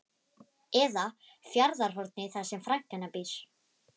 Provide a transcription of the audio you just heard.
Eða Fjarðarhorni þar sem frænka hennar býr.